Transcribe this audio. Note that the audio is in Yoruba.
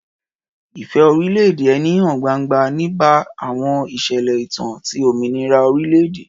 Ìfẹ́ orílẹ̀-èdè ẹni hàn gbangba nígbà àwọn ìṣẹ̀lẹ̀ ìtàn ti òmìnira orílẹ̀-èdè.